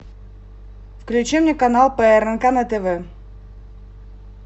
включи мне канал прнк на тв